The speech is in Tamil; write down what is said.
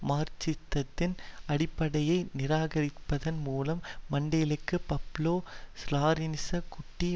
மார்க்சிசத்தின் அடிப்படையை நிராகரிப்பதன் மூலம் மண்டேலும் பப்லோ ஸ்ராலினிச குட்டி